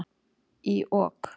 Í OK!